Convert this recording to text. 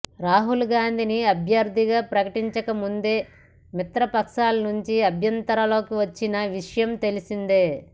రాహుల్ గాంధీని అభ్యర్థిగా ప్రకటించకముందే మిత్రపక్షాల నుంచే అభ్యంతరాలొచ్చిన విషయం తెలిసిందే